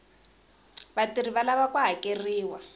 vatirhi va lava ku hakeriwa